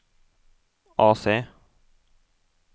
AC